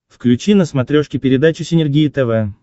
включи на смотрешке передачу синергия тв